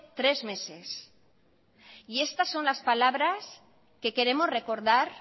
tres meses y estas son las palabras que queremos recordar